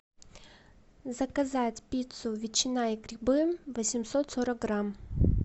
заказать пиццу ветчина и грибы восемьсот сорок грамм